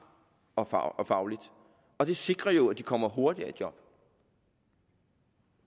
og fagligt og det sikrer jo at de kommer hurtigere i job